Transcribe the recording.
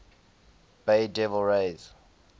bay devil rays